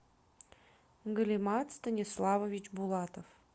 галимат станиславович булатов